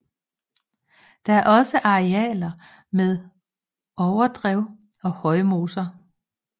Der er også arealer med overdrev og højmoser